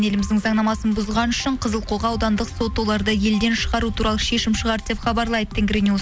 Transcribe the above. еліміздің заңнамасын бұзғаны үшін қызылқоға аудандық сот оларды елден шығару туралы шешім шығарды деп хабарлайды тенгринюс